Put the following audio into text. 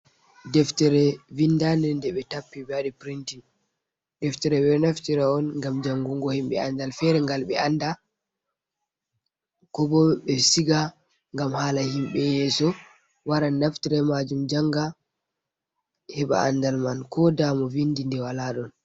Deftere vindande nde ɓe tappi ɓe waɗi Pirintin. Deftere ɓe naftira'on ngam Jangungo himɓe andal Fere ngal ɓe anda. Ko bo ɓe Siga ngam hala himɓe yeso waran Naftere be majum njanga heɓa andal man. Koda mo Vindi nde wala ɗon.